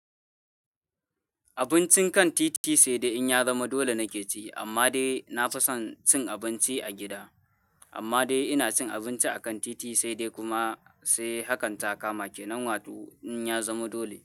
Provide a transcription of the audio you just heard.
Abincin kan titi sai dai in ya zama dole nake ci, amma dai na fi son cin abinci a gida. Amma dai ina cin abinci a kan titi sai dai kuma sai hakan ta kama ke nan wato in ya zama dole.